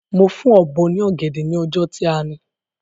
Mo fún Ọ̀bọ́ ní ọ̀gẹ̀dẹ̀ ni ọjọ́ tí a ni